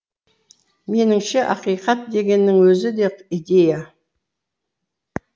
меніңше ақиқат дегеннің өзі де идея